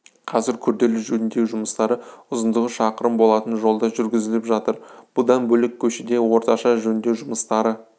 қазір күрделі жөндеу жұмыстары ұзындығы шақырым болатын жолда жүргізіліп жатыр бұдан бөлек көшеде орташа жөндеу жұмыстары